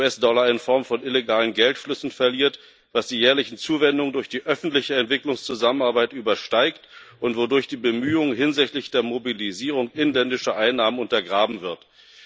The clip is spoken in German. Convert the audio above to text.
US Dollar in Form von illegalen Geldflüssen verliert, was die jährlichen Zuwendungen durch die öffentliche Entwicklungszusammenarbeit übersteigt und wodurch die Bemühungen hinsichtlich der Mobilisierung inländischer Einnahmen untergrabenwerden.